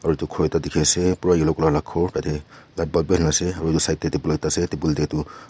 aro edu khor ekta dikhiase pura yellow colour la khor tate light bulb bihali na ase aro edu side tae tapul ekta ase tabul tae tu.